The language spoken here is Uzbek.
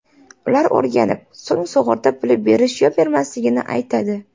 Ular o‘rganib, so‘ng sug‘urta puli berish yo bermasligini aytadi.